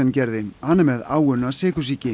gerði hann er með áunna sykursýki